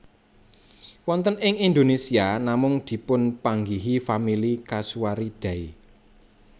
Wonten ing Indonésia namung dipunpanggihi famili casuaridae